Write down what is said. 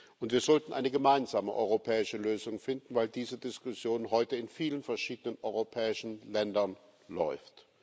Und wir sollten eine gemeinsame europäische Lösung finden, weil diese Diskussion heute in vielen verschiedenen europäischen Ländern läuft.